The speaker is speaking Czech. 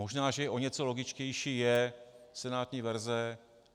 Možná, že o něco logičtější je senátní verze.